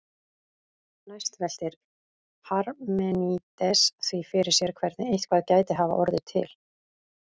Næst veltir Parmenídes því fyrir sér hvernig eitthvað gæti hafa orðið til.